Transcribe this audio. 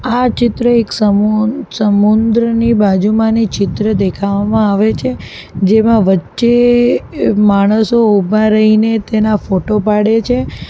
આ ચિત્ર એક સમુહ સમુદ્રની બાજુમાંની ચિત્ર દેખાવામાં આવે છે જેમાં વચ્ચે માણસો ઉભા રહીને તેના ફોટો પાડે છે.